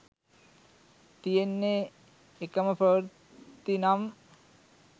තියෙන්නෙ එකම ප්‍රවෘත්තිනම්